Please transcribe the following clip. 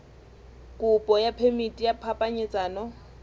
kopo ya phemiti ya phapanyetsano